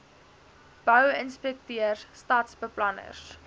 bou inspekteurs stadsbeplanners